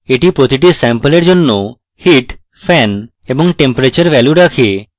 এটি প্রতিটি স্যাম্পলের জন্য heat fan এবং temperature ভ্যালু রাখে